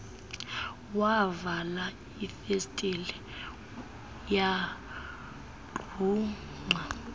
wavala ifestile yagrungqa